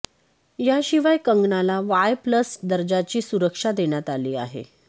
याशिवाय कंगनाला Y plus दर्जाची सुरक्षा देण्यात आली आहे